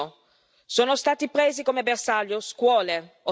Il bilancio in termini di vite umane è pesantissimo.